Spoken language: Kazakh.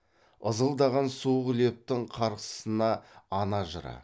ызылдаған суық лептің қарсысына ана жыры